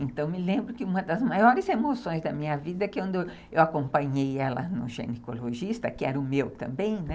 Então me lembro que uma das maiores emoções da minha vida é quando eu acompanhei ela no ginecologista, que era o meu também, né?